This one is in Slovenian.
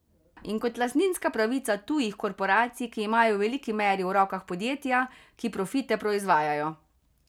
In kot lastninska pravica tujih korporacij, ki imajo v veliki meri v rokah podjetja, ki profite proizvajajo.